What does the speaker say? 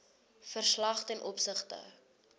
verslag ten opsigte